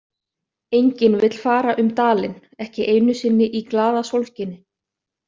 Enginn vill fara um dalinn, ekki einu sinni í glaðasólskini.